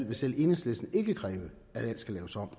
vil selv enhedslisten ikke kræve at alt skal laves om